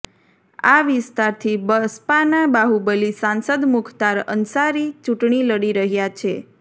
આ વિસ્તારથી બસપાના બાહુબલી સાંસદ મુખ્તાર અંસારી ચૂંટણી લડી રહ્યાં છે